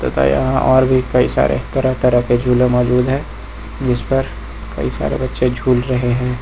यहां और भी कई सारे तरह तरह के झूले मौजूद है जिस पर कई सारे बच्चे झूल रहे हैं।